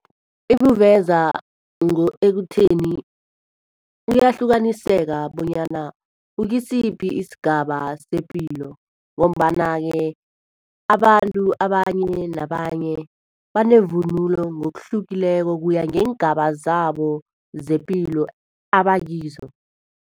Ibuveza ekutheni kuyahlukaniseka bonyana ukusiphi isigaba sepilo. Ngombana-ke abantu abanye nabanye banevunulo ngokuhlukileko, kuya ngeengaba zabo zepilo abakizo.